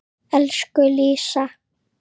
Elsku Lísa.